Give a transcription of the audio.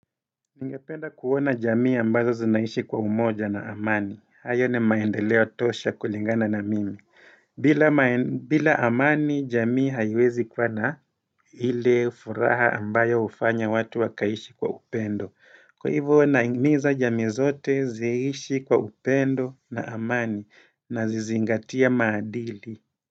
Ningependa kuona jamii ambazo zinaishi kwa umoja na amani. Hayo ni maendeleo tosha kulingana na mimi. Bila amani jamii haiwezi kuwa na ile furaha ambayo hufanya watu wakaishi kwa upendo. Kwa hivuo nahimiza jamii zote ziishi kwa upendo na amani na zizingatie maadili.